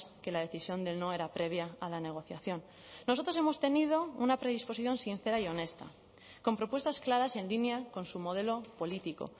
que la decisión del no era previa a la negociación nosotros hemos tenido una predisposición sincera y honesta con propuestas claras en línea con su modelo político